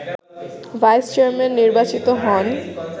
vice chairman নির্বাচিত হন